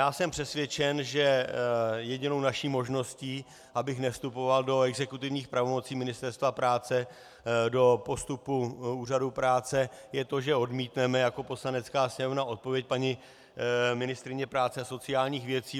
Já jsem přesvědčen, že jedinou naší možností, abych nevstupoval do exekutivních pravomocí Ministerstva práce, do postupu úřadu práce, je to, že odmítneme jako Poslanecká sněmovna odpověď paní ministryně práce a sociálních věcí.